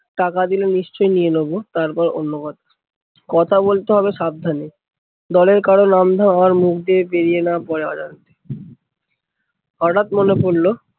টাকা দিলে নিশ্চই নিয়ে নেবো, তারপরে অন্য কথা। কথা বলতে হবে সাবধানে। দলের কারো নাম ধাম আবার মুখ দিয়ে বেরিয়ে না পরে অজান্তে। হঠাৎ মনে পরলো